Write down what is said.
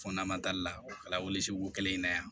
Fɔ n'an man tali la o kɛla weleli kelen in na yan